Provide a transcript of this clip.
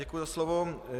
Děkuji za slovo.